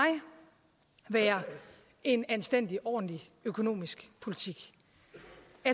være en anstændig ordentlig økonomisk politik atp